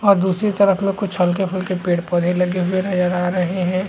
और दूसरी तरफ में कुछ हलके फुल्के पेड़-पौधे लगे हुए नज़र आ रहे हैं ।